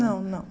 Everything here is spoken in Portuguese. Não, não.